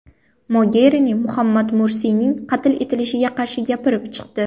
Mogerini Muhammad Mursiyning qatl etilishiga qarshi gapirib chiqdi.